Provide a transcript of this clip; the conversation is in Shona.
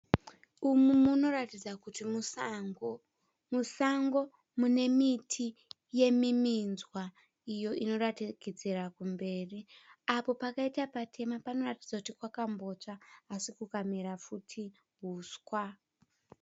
Umu munoratidza kuti musango. Musango munemiti yemiminzwa iyo inoratidzikira kumberi. Apo pakaita patema panoratidza kuti pakambotsva asi kukamera futi huswa.